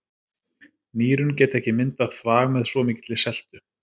Nýrun geta ekki myndað þvag með svo mikilli seltu.